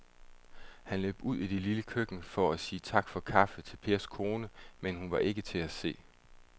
Han løb ud i det lille køkken for at sige tak for kaffe til Pers kone, men hun var ikke til at se.